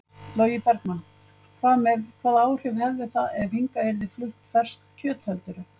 Logi Bergmann: Hvað með, hvaða áhrif hefði það ef hingað yrði flutt ferskt kjöt heldurðu?